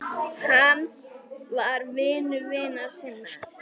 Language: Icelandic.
Hann var vinur vina sinna.